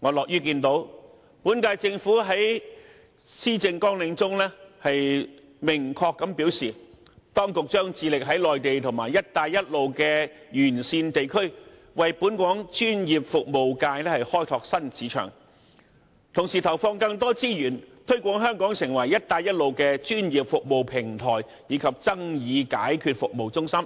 我樂於見到，本屆政府在其施政綱領中明確表示，當局將致力在內地及"一帶一路"沿線地區為本港專業服務業開拓新市場，同時投放更多資源推廣香港成為"一帶一路"的專業服務平台及爭議解決服務中心，